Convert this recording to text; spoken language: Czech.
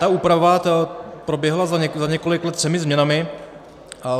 Ta úprava proběhla za několik let třemi změnami.